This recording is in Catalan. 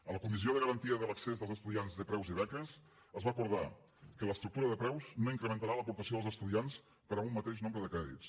a la comissió de garantia de l’accés dels estudiants de preus i beques es va acordar que l’estructura de preus no incrementarà l’aportació dels estudiants per a un mateix nombre de crèdits